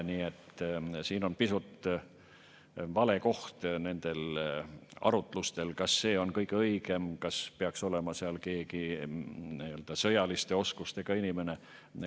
Nii et siin on pisut vale koht nendel arutlustel, kas see on kõige õigem või kas peaks olema seal keegi sõjaliste oskustega inimene.